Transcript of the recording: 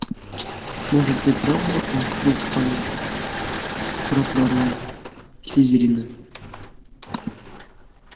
может и правда он какой-то там праправнук слизерина